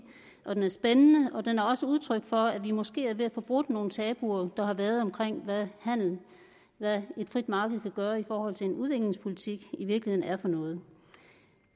og at den er spændende og den er også udtryk for at vi måske er ved at få brudt nogle tabuer der har været om hvad et frit marked kan gøre i forhold til hvad en udviklingspolitik i virkeligheden er for noget